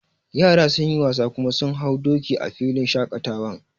Yara sun yi wasa kuma sun hau doki a filin shaƙatawan